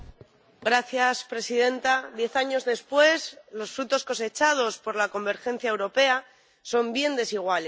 Señora presidenta, diez años después, los frutos cosechados por la convergencia europea son bien desiguales.